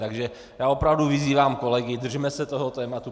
Tak já opravdu vyzývám kolegy, držme se toho tématu.